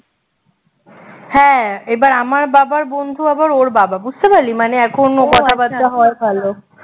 হ্যাঁ এবার আমার বাবার বন্ধু আবার ওর বাবা বুঝতে পারলি মানে এখনও কথাবার্তা হয় ভালো